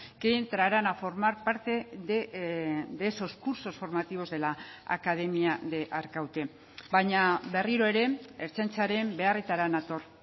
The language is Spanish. que entrarán a formar parte de esos cursos formativos de la academia de arkaute baina berriro ere ertzaintzaren beharretara nator